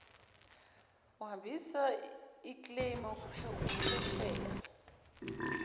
uhambisa ikleymu uphesheya